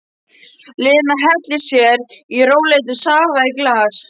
Lena hellir sér í rólegheitum safa í glas.